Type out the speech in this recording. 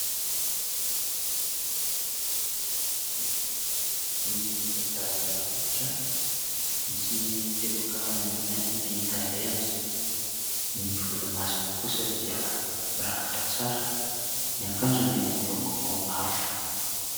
Izy dia zarazara hoditra, misy teboka maintimainty ny tarehiny ; ny volomasony kosa dia mirafitra tsara ; ny akanjony miloko mavo.